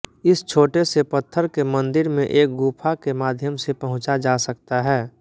इस छोटेसे पत्थर के मन्दिर में एक गुफ़ा के माध्यम से पहुँचा जा सकता है